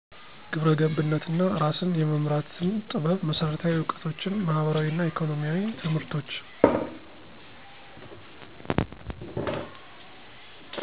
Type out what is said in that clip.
ግብረ ገብነት እና እራስን የመምራትን ጥበብ መሰረታዊ እውቀቶችን ማህበራዊ እና ኢኮኖሚያዊ ትምህርቶች።